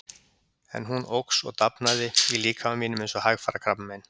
En hún óx og dafnaði í líkama mínum eins og hægfara krabbamein.